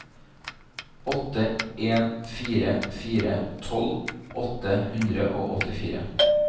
åtte en fire fire tolv åtte hundre og åttifire